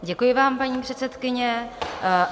Děkuji vám, paní předsedkyně.